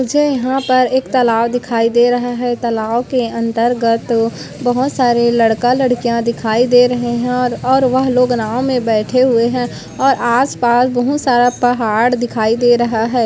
मुझे यहाँ पर एक तालाव दिखाई दे रहा है तालाव के अंतर्गत बहुत सारे लड़का लड़कियां दिखाई दे रहे है और और वह लोग नाव में बैठे हुए है और आसपास बहुत सारा पहाड़ दिखाई दे रहा है।